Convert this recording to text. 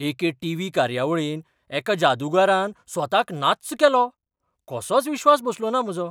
एके T. V. कार्यावळींत एका जादूगारान स्वताक नाच्च केलो, कसोच विश्वास बसलोना म्हजो.